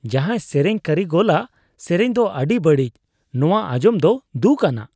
ᱡᱟᱦᱟᱭ ᱥᱮᱨᱮᱧ ᱠᱟᱹᱨᱤᱜᱚᱞᱟᱜ ᱥᱮᱨᱮᱧ ᱫᱚ ᱟᱹᱰᱤ ᱵᱟᱹᱲᱤᱡ ᱾ ᱱᱚᱶᱟ ᱟᱸᱡᱚᱢ ᱫᱚ ᱫᱷᱩᱠᱷ ᱟᱱᱟᱜ ᱾